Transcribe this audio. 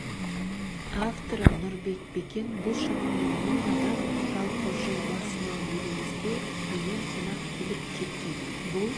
авторы нұрбек бекен бұл шамамен мың адам жалпы жыл басынан елімізге млн қонақ келіп кеткен бұл